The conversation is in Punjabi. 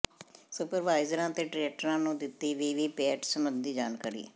ਸੁਪਰਵਾਈਜਰਾਂ ਤੇ ਟਰੇਨਰਾਂ ਨੂੰ ਦਿੱਤੀ ਵੀਵੀ ਪੈਟ ਸਬੰਧੀ ਜਾਣਕਾਰੀ